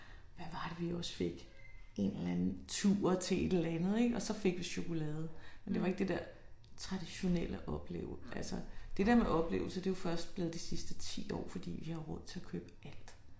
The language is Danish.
Hvad var det vi også fik en eller andet tur til et eller andet ik og så fik vi chokolade. Men det var ikke det der traditionelle opleve altså det der med oplevelser det jo først blevet de sidste 10 år fordi vi har råd til at købe alt